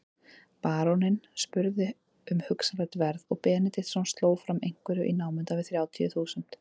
Baróninn spurði um hugsanlegt verð og Benediktsson sló fram einhverju í námunda við þrjátíu þúsund.